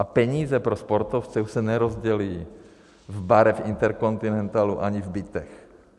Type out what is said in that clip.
A peníze pro sportovce už se nerozdělí v barech InterContinentalu ani v bytech.